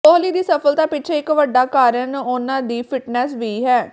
ਕੋਹਲੀ ਦੀ ਸਫਲਤਾ ਪਿੱਛੇ ਇੱਕ ਵੱਡਾ ਕਾਰਨ ਉਨ੍ਹਾਂ ਦੀ ਫਿਟਨੈੱਸ ਵੀ ਹੈ